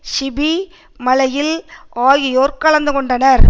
CP மலையில் ஆகியோர் கலந்து கொண்டனர்